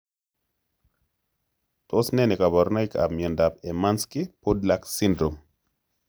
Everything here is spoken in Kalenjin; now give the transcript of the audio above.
Tos ne kaborunoikab miondop hermansky pudlak syndrome?